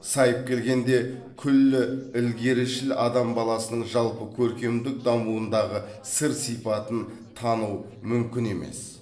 сайып келгенде күллі ілгерішіл адам баласының жалпы көркемдік дамуындағы сыр сипатын тану мүмкін емес